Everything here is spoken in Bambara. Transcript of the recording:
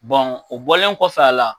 o bɔlen kɔfɛ a la